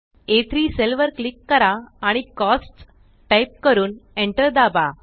आ3 cell वर click करा आणि कोस्ट्स टाइप करून Enter दाबा